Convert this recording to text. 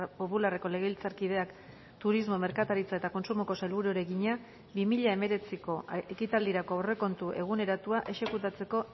popularreko legebiltzarkideak turismo merkataritza eta kontsumoko sailburuari egina bi mila hemeretziko ekitaldirako aurrekontu eguneratua exekutatzeko